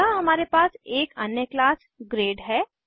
यहाँ हमारे पास एक अन्य क्लास ग्रेड है